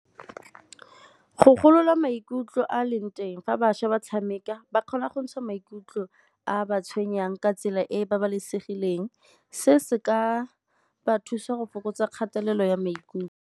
Go golola maikutlo a a leng teng fa bašwa ba tshameka ba kgona go ntsha maikutlo a a ba tshwenyang ka tsela e e babalesegileng. Se se ka ba thusa go fokotsa kgatelelo ya maikutlo.